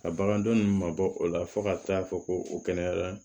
Ka bagandɔ ninnu mabɔ o la fo ka taa fɔ ko o kɛnɛyara